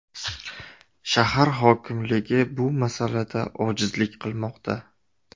Shahar hokimligi bu masalada ojizlik qilmoqda.